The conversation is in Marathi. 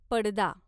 पडदा